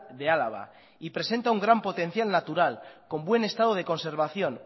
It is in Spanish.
de álava y presenta un gran potencial natural con buen estado de conservación